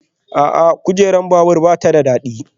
A'a, kujerar babur ba ta da daɗi